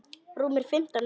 Rúmir fimmtán metrar.